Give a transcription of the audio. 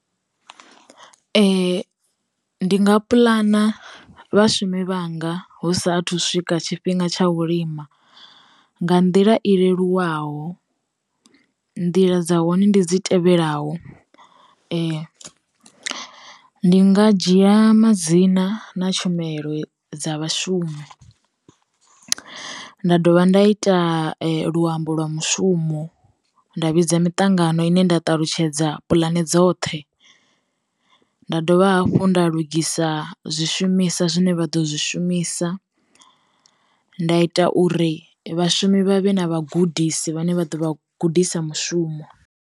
Ndi nga pulana vha shume i vhanga hu sa athu swika tshifhinga tsha u lima, nga nḓila i leluwaho nḓila dza hone ndi dzi tevhelaho. Ndi nga dzhia madzina na tshumelo dza vha shumi, nda dovha nda ita luambo lwa mushumo, nda vhidza miṱangano ine nda ṱalutshedza dza puḽane dzoṱhe, nda dovha hafhu nda lugisa zwi shumisa zwine vha ḓo zwi shumisa, nda ita uri vhashumi vha vhe na vha gudisi vhane vha ḓo vha gudisa mushumo.